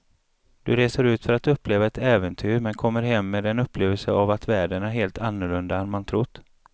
Du reser ut för att uppleva ett äventyr men kommer hem med en upplevelse av att världen är helt annorlunda än man trott.